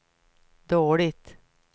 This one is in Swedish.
dåligt